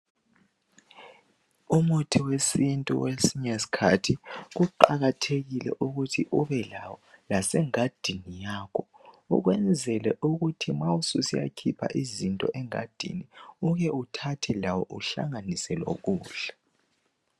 Umuthi wesintu kwesinye isikhathi kuqakathekile ukuthi ubelawo lasengadini yakho ukwenzela ukuthi ma susiyakhipha izinto engadini uke uthathe lawo uhlanganise lokudla.